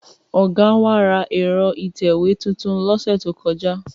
Ọ̀gá wa ra ẹ̀rọ ìtẹ̀wé tuntun lọ́sẹ̀ tó kọjá.